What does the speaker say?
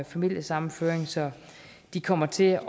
familiesammenføring så de kommer til